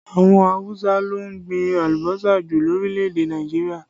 Àwọn Awusa ló ń gbìn alùbọ́sà jù lórílẹ̀ èdè Nàìjíríà